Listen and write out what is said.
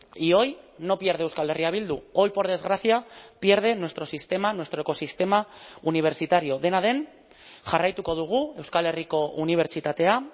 y hoy no pierde euskal herria bildu hoy por desgracia pierde nuestro sistema nuestro ecosistema universitario dena den jarraituko dugu euskal herriko unibertsitatea